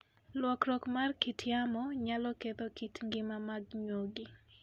Lokruok mar kit yamo nyalo ketho kit ngima mag nyuogi.